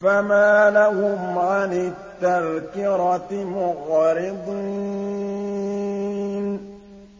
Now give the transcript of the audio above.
فَمَا لَهُمْ عَنِ التَّذْكِرَةِ مُعْرِضِينَ